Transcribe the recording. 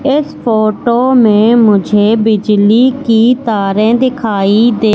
इस फोटो में मुझे बिजली की तारें दिखाई दे--